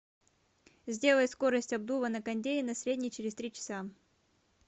сделай скорость обдува на кондее на средний через три часа